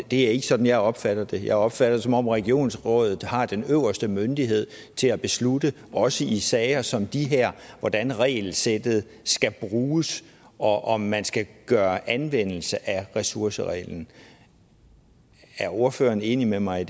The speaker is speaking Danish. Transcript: det er ikke sådan jeg opfatter det jeg opfatter det som om regionsrådet har den øverste myndighed til at beslutte også i sager som de her hvordan regelsættet skal bruges og om man skal gøre anvendelse af ressourcereglen er ordføreren enig med mig